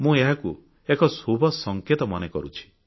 ମୁଁ ଏହାକୁ ଏକ ଶୁଭ ସଂକେତ ମନେ କରୁଛି